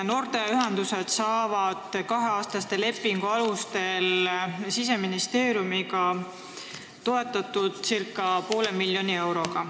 Noorteühendusi toetatakse Siseministeeriumiga sõlmitud kaheaastaste lepingute alusel ca poole miljoni euroga.